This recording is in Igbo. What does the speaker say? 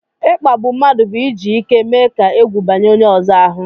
ikpágbù mmadụ bụ iji ike mee ka ègwù banye onye ọzọ ahụ